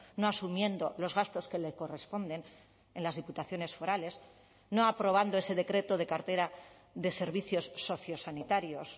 no asumiendo los gastos que le corresponden en las diputaciones forales no aprobando ese decreto de cartera de servicios sociosanitarios